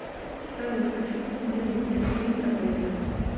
салют хочу посмотреть мультик свинка пепе